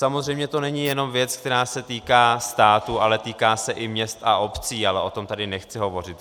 Samozřejmě to není jenom věc, která se týká státu, ale týká se i měst a obcí, ale o tom tady nechci hovořit.